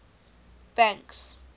banks